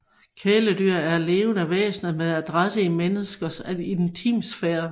Kæledyr er levende væsener med adresse i menneskers intimsfære